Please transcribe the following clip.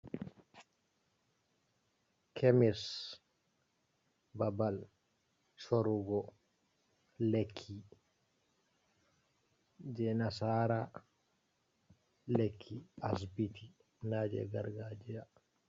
Kemis, babal sorugo lekki je nasara lekki asbiti, naje gargajiya.